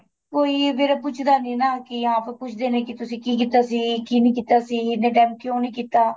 ਕੋਈ ਫੇਰ ਪੁੱਛਦਾ ਨੀਂ ਨਾ ਕੀ ਕੀਤਾ ਸੀ ਕੀ ਨਹੀਂ ਕੀਤਾ ਸੀ ਇੰਨੇ time ਕਿਉਂ ਨਹੀਂ ਕੀਤਾ